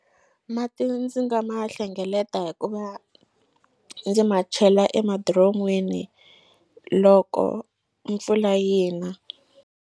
Mati ndzi nga ma hlengeleta hikuva ndzi ma chela emadiron'wini loko mpfula yi na.